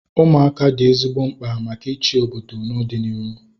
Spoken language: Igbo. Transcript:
Ụmụaka dị ezigbo mkpa maka ịchị obodo na ọdịnihu